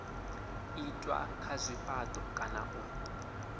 itwa kha zwifhato kana u